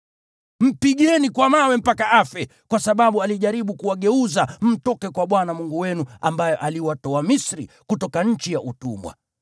Mpigeni kwa mawe mpaka afe, kwa sababu alijaribu kuwageuza mtoke kwa Bwana Mungu wenu ambaye aliwatoa Misri, kutoka nchi ya utumwa.